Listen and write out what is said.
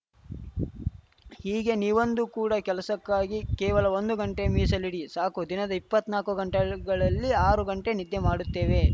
ಹೀಗೆ ನೀವಂದುಕೂಡ ಕೆಲಸಕ್ಕಾಗಿ ಕೇವಲ ಒಂದು ಗಂಟೆ ಮೀಸಲಿಡಿ ಸಾಕು ದಿನದ ಇಪ್ಪತ್ನಾಕು ಗಂಟೆಗಳಲ್ಲಿ ಆರು ಗಂಟೆ ನಿದ್ದೆ ಮಾಡುತ್ತೇವೆ